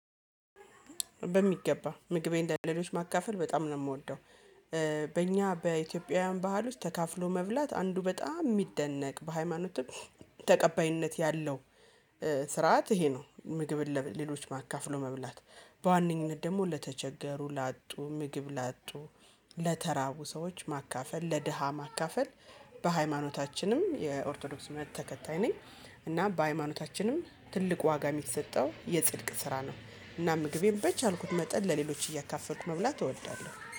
በሚገባ ምግቤን ለሌሎች ማካፈል በጣም ነው የምወደው። በእኛ በኢትዮጵያውያን ባህል ውስጥ ተካፍሎ መብላት አንዱ በጣም የሚደነቅ በሃይማኖትም ተቀባይነት ያለው ስርዓት ይሄ ነው። ምግብን ለ ለሌሎች ማ አካፍሎ መብላት በዋነኝነት ደግሞ ለተቸገሩ ላጡ ምግብ ላጡ ለተራቡ ሰዎች ማካፈል ለድሃ ማካፈል። በሃይማኖታችንም የኦርቶዶክስ እምነት ተከታይ ነኝ። እና በሃይማኖታችንም ትልቁ ዋጋ የሚሰጠው የጽድቅ ስራ ነው። እና ምግቤን በቻልኩት መጠን ለሌሎች እያካፈልኩ መብላት እወዳለሁ